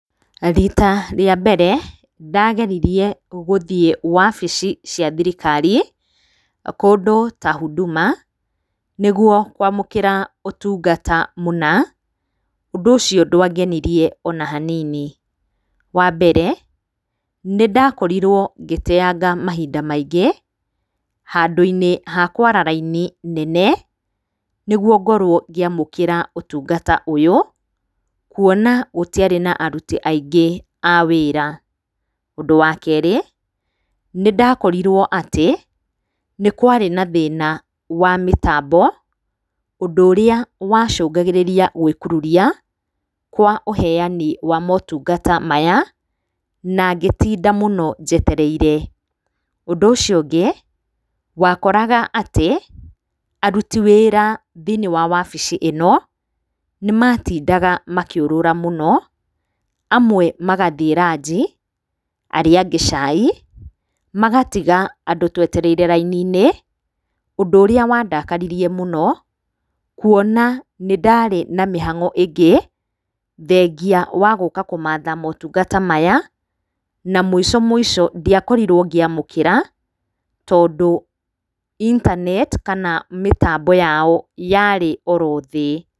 Rita rĩa mbere ndageririe gũthiĩ wabici cia thirikari, kũndũ ta huduma, nĩguo kwamũkĩra ũtungata mũna, Ũndũ ũcio ndwangenirie o na hanini. Wa mbere, nĩ ndakorirwo ngĩteyanga mahinda maingĩ, handũ-inĩ ha kwara raini nene, nĩguo ngorwo ngĩamũkĩra ũtungata ũyũ, kuona gũtiarĩ na aruti aingĩ a wĩra. Ũndũ wa kerĩ, nĩ ndakorirwo atĩ, nĩ kwarĩ na thĩna wa mĩtambo, Ũndũ ũrĩa wacũngagĩrĩria gwĩkururia kwa ũheani wa motungata maya, na ngĩtinda mũno njetereire. Ũndũ ũcio ũngĩ, wakoraga atĩ, aruti wĩra thĩ-inĩ wa wabici ĩno, nĩ matindaga makĩũrũra mũno, amwe magathiĩ ranji, arĩa angĩ cai, magatiga andũ twetereire raini-inĩ, Ũndũ ũrĩa wandakaririe mũno, kuona nĩ ndarĩ na mĩhang'o ĩngĩ, thengia wa gũka kũmatha motungata maya, na mũico mũico ndiakorirwo ngĩamũkĩra, tondũ internet kana mĩtambo yao yarĩ o ro thĩ